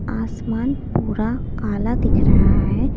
आसमान पूरा काला दिख रहा है।